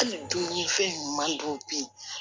Hali dumunifɛn ɲuman dɔw bɛ yen